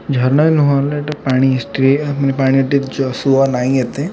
ଝରଣା ନହେଲେ ଏଇଟା ପାଣି ହିଷ୍ଟ୍ରିଏ ଆମେ ପାଣି ଟି ଯଶୱା ନାଇ ଏତେ।